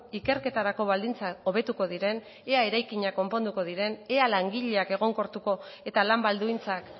ikerketarako baldintzak hobetuko diren ea eraikinak konponduko diren ea langileak egonkortuko eta lan baldintzak